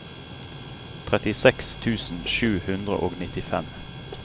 trettiseks tusen sju hundre og nittifem